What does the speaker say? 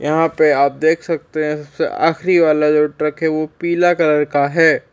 यहाँ पे आप देख सकते हैं सबसे आखिरी वाला जो ट्रक है वो पीला कलर का है।